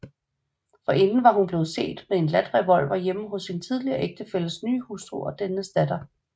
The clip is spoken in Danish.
Forinden var hun blevet set med en ladt revolver hjemme hos sin tidligere ægtefælles nye hustru og dennes datter